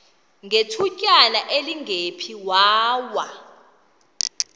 ngethutyana elingephi waya